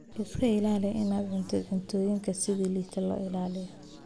Iska ilaali inaad cuntid cuntooyinka si liidata loo ilaaliyo.